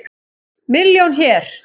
Milljón hér.